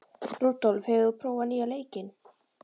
Rúdólf, hefur þú prófað nýja leikinn?